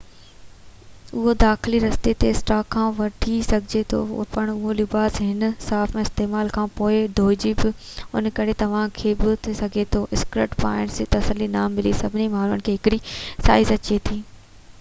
اهو داخلي رستي تي اسٽاڪ کان وٺي سگهجي ٿو پر اهو لباس هر صارف جي استعمال کانپوءِ نٿو ڌوپجي ان ڪري توهان کي ٿي سگهي ٿو اسڪرٽ پائڻ ۾ تسلي نہ ملي سڀني ماڻهن کي هڪڙي سائيز اچي ٿي